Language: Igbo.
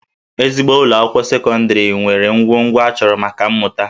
Ezigbo ụlọ akwụkwọ sekọndịrị nwere ngwongwo a chọrọ maka mmụta